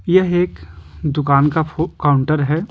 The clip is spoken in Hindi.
यह एक दुकान का फो काउंटर है।